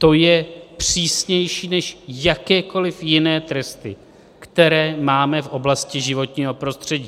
To je přísnější než jakékoliv jiné tresty, které máme v oblasti životního prostředí.